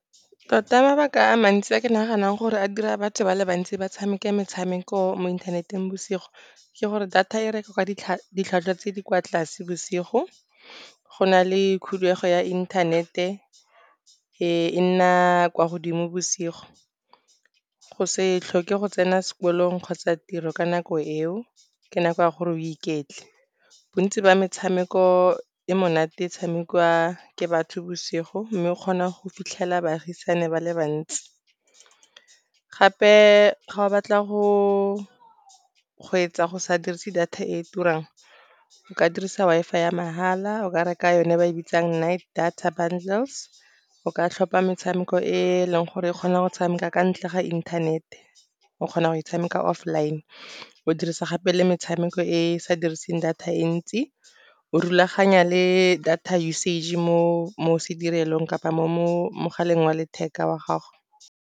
Tota mabaka a mantsi a ke naganang gore a dira batho ba le bantsi ba tshameke metshameko mo inthaneteng bosigo. Ke gore data e ditlhwatlhwa tse di kwa tlase bosigo, go na le khuduego ya inthanete, e nna kwa godimo bosigo, go se tlhoke go tsena sekolong kgotsa tiro ka nako eo, ke nako ya gore o iketle. Bontsi ba metshameko e monate e tshamekiwa ke batho bosigo, mme o kgona go fitlhela baagisani ba le bantsi. Gape ga o batla go etsa go sa dirise data e turang o ka dirisa Wi-Fi ya mahala, o ka reka yone ba e bitsang night data bundle. O ka tlhopa metshameko e eleng gore e kgona go tshameka ka ntle ga inthanete, o kgona go e tshameka offline. O dirisa gape le metshameko e sa diriseng data e ntsi, o rulaganya le data usage mo sedirelong kapa mo mogaleng wa letheka wa gago.